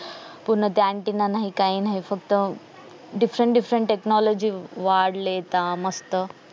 पूर्ण ते antenna नाही काही नाही different different वाढलेय आता मस्त